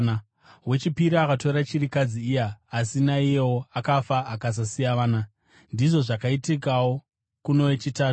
Wechipiri akatora chirikadzi iya, asi naiyewo akafa, akasasiya vana. Ndizvo zvakaitikawo kuno wechitatu.